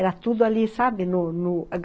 Era tudo ali, sabe?, no no